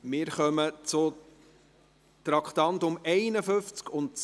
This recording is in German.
Wir kommen zu den Traktanden 51 und 52.